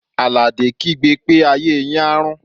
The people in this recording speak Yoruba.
Àlàdé kígbe pé "ayé yín á rún!"